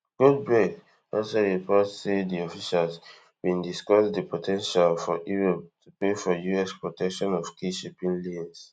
goldberg also report say di officials bin discuss di po ten tial for europe to pay for us protection of key shipping lanes